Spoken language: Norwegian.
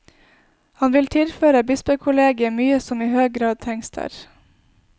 Han vil tilføra bispekollegiet mykje som i høg grad trengst der.